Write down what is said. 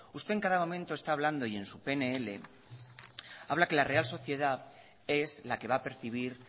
usted en cada momento está hablando y en su pnl habla que la real sociedad es la que va a percibir